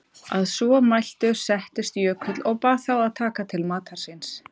Að svo mæltu settist Jökull og bað þá að taka til matar síns.